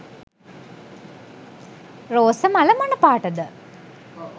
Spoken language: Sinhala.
රෝස මල මොන පාට ද?